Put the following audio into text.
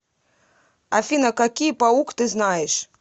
афина какие паук ты знаешь